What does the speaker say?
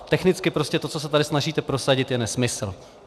Technicky prostě to, co se tady snažíte prosadit, je nesmysl.